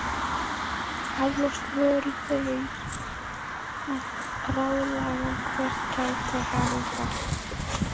Eflaust voru þeir að ráðslaga hvert ætti að halda.